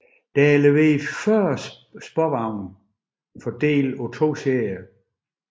Der er leveret 40 sporvogne fordelt på to serier